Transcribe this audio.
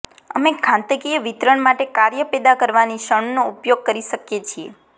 અમે ઘાતાંકીય વિતરણ માટે કાર્ય પેદા કરવાની ક્ષણનો ઉપયોગ કરી શકીએ છીએ